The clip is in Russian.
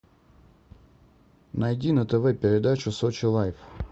найди на тв передачу сочи лайф